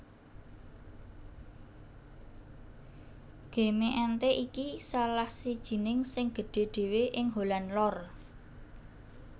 Gemeente iki salah sijining sing gedhé dhéwé ing Holland Lor